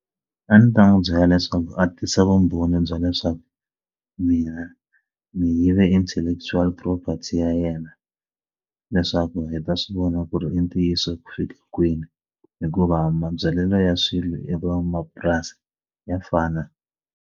A ndzi ta n'wi byela leswaku a tisa vumbhoni bya leswaku mina ni yive intellectual property ya yena leswaku hi ta swi vona ku ri i ntiyiso ku fika kwini hikuva mabyalelo ya swilo ya van'wamapurasi ya fana.